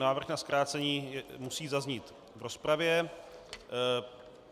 Návrh na zkrácení musí zaznít v rozpravě.